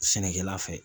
Sɛnɛkɛla fɛ